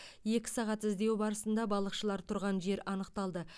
екі сағат іздеу барысында балықшылар тұрған жер анықталды